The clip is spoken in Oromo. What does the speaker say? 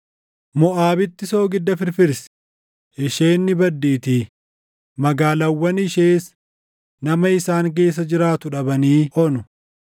Moʼaabitti soogidda firfirsi; isheen ni baddiitii; magaalaawwan ishees nama isaan keessa jiraatu dhabanii onu.